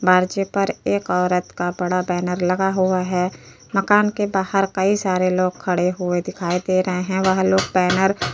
बारचे पर एक औरत का बड़ा बैनर लगा हुआ है। मकान के बाहर कइ सारे लोग खड़े हुए दिखाई दे रहे हैं। वह लोग बैनर --